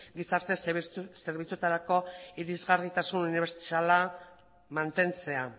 gizarte zerbitzuetarako irisgarritasun unibertsala mantentzea